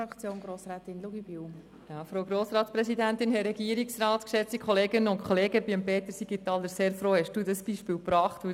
Ich bin sehr froh, dass Peter Siegenthaler dieses Beispiel gebracht hat.